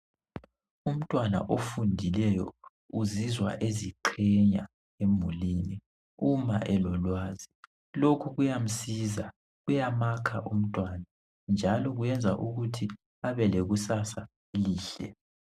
Umntwana ofundileyo uzizwa eziqhenya emulini uma elolwazi .Lokhu kuyamsiza , kuyamakha umntwana .Njalo kuyenza ukuthi abelekusasa elihle .